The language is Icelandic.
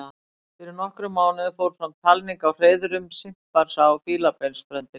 Fyrir nokkrum mánuðum fór fram talning á hreiðrum simpansa á Fílabeinsströndinni.